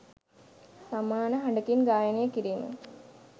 සමාන හඬකින් ගායනය කිරීම